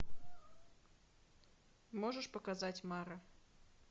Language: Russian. можешь показать мара